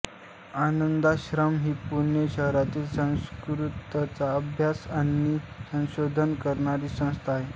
आनंदाश्रम ही पुणे शहरातील संस्कृतचा अभ्यास आणि संशोधन करणारी संस्था आहे